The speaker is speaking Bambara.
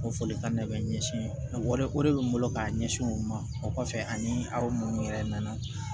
O folikan de bɛ n ɲɛsin o de bɛ n bolo k'a ɲɛsin o ma o kɔfɛ ani aw minnu yɛrɛ nana